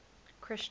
christian